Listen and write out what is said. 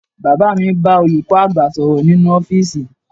Bàbá mi ń bá olùkọ́ àgbà sọ̀rọ̀ nínú ọ́fíìsì